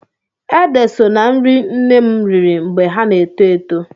Ede so ná nri nne m riri mgbe ha na-eto eto.